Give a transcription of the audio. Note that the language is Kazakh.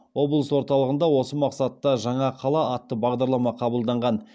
облыс орталығында осы мақсатта жаңа қала атты бағдарлама қабылданған